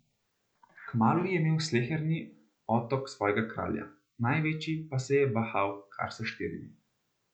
Kmalu je imel sleherni otok svojega kralja, največji pa se je bahal kar s štirimi.